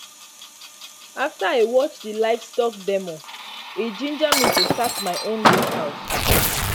after i watch di livestock demo e ginger me to start my own goat house